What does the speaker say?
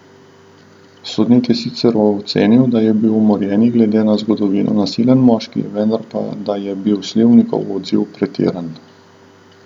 Sodnik je sicer ocenil, da je bil umorjeni glede na zgodovino nasilen moški, vendar pa da je bil Slivnikov odziv pretiran.